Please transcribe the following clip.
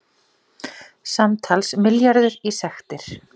Samtals milljarður í sektir